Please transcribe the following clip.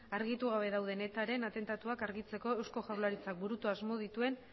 argitu gabe dauden etaren atentatuak argitzeko eusko jaurlaritzak burutu asmo dituen